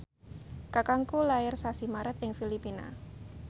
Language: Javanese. kakangku lair sasi Maret ing Filipina